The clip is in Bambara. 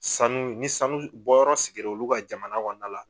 Sanu ni sanu bɔyɔrɔ sigir'olu ka jamana kɔnɔna na.